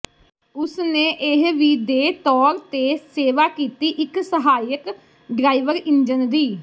ਉਸ ਨੇ ਇਹ ਵੀ ਦੇ ਤੌਰ ਤੇ ਸੇਵਾ ਕੀਤੀ ਇੱਕ ਸਹਾਇਕ ਡਰਾਈਵਰ ਇੰਜਣ ਦੀ